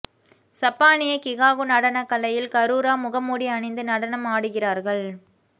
சப்பானிய கிகாகு நடனக் கலையில் கரூரா முகமுடி அணிந்து நடனம் ஆடுகிறார்கள்